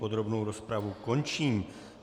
Podrobnou rozpravu končím.